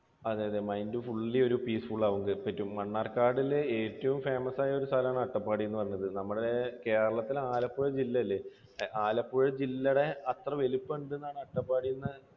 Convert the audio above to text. അതെ mind വല്യ ഒരു refresh ആക്കാൻ പറ്റും. മണ്ണാർക്കാടിലെ ഏറ്റവും famous ആയ ഒരു സ്ഥലമാണ് അട്ടപ്പാടി എന്ന് പറഞ്ഞത്. നമ്മുടെ കേരളത്തിലെ ആലപ്പുഴ ജില്ലയില്ലേ? ആലപ്പുഴ ജില്ലയുടെ അത്ര വലിപ്പം ഉണ്ടെന്നാണ് അട്ടപ്പാടി എന്നാണ്